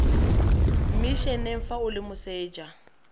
mmisheneng fa o le moseja